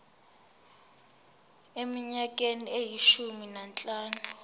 eminyakeni eyishumi nanhlanu